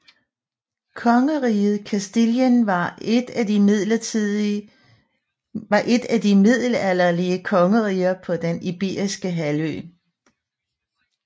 Kongeriget Castilien var et af de middelalderlige kongeriger på Den Iberiske Halvø